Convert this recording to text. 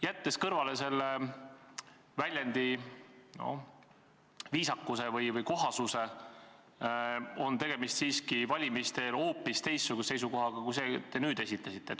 " Jättes kõrvale selle väljendi viisakuse või kohasuse, on tegemist siiski valimiste-eelse, hoopis teistsuguse seisukohaga kui see, mille te nüüd esitasite.